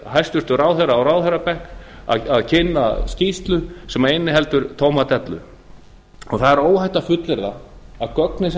hæstvirtur ráðherra á ráðherrabekk og kynnir skýrslu sem inniheldur tóma dellu það er óhætt að fullyrða að gögnin